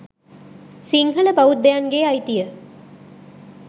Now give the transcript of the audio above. සිංහල බෞද්ධයන්ගේ අයිතිය